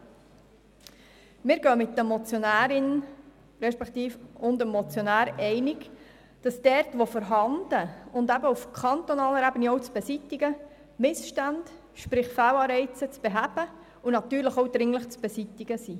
Wir gehen mit der Motionärin und dem Motionär einig, dass Missstände, sprich Fehlanreize, dort wo vorhanden und eben auch auf kantonaler Ebene zu beseitigen, zu beheben und natürlich auch dringlich zu beseitigen sind.